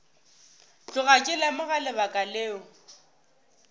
tloga ke lemoga lebaka leo